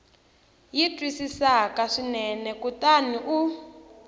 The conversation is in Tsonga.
yi twisisaka swinene kutani u